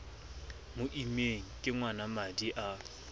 mo immeng ke ngwanamadi a